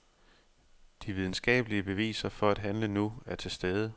De videnskabelige beviser for at handle nu er til stede.